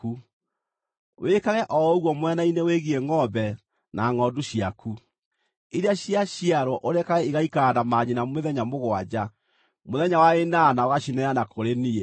Wĩkage o ũguo mwena-inĩ wĩgiĩ ngʼombe na ngʼondu ciaku. Iria ciaciarwo ũrekage igaikara na manyina mĩthenya mũgwanja, mũthenya wa ĩnana ũgacineana kũrĩ niĩ.